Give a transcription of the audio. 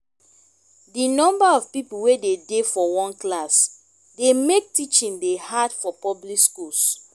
di number of pipo wey de dey for one class dey make teaching dey hard for public schools